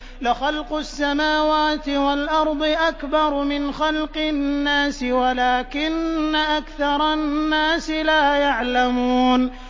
لَخَلْقُ السَّمَاوَاتِ وَالْأَرْضِ أَكْبَرُ مِنْ خَلْقِ النَّاسِ وَلَٰكِنَّ أَكْثَرَ النَّاسِ لَا يَعْلَمُونَ